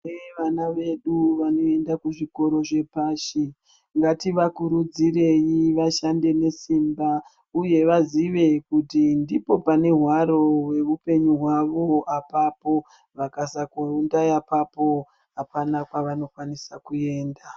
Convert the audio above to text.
Kune vana vedu vanoenda kuzvikoro zvepashi ngativakurudzirei vashande nesimba uye vazive kuti ndipo pane hwaro hweupenyu hwavo apapo vakasakuumba apapo apana kwavanokwanisa kuenda.